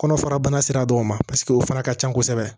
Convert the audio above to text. Kɔnɔfara bana sera dɔw ma paseke o fana ka ca kosɛbɛ